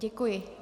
Děkuji.